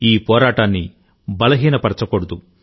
ఈ పోరాటాన్ని బలహీనపరచకూడదు